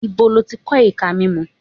Ibo ló ti kọ́ ìka mímú?